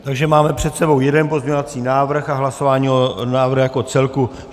Takže máme před sebou jeden pozměňovací návrh a hlasování o návrhu jako celku.